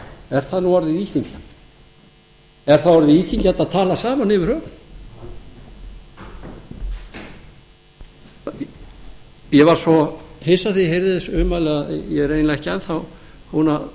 er það nú orðið íþyngjandi er það orðið íþyngjandi að tala saman yfir höfuð ég varð svo hissa þegar ég heyrði þessi ummæli að ég er eiginlega ekki enn þá búinn að